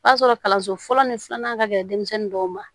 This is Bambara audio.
O y'a sɔrɔ kalanso fɔlɔ ni filanan ka gɛlɛn denmisɛnnin dɔw ma